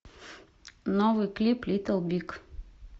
новый клип литл биг